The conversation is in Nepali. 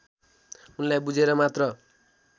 उनलाई बुझेर मात्र